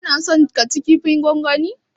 Ka na son cin kofin gwangwanin?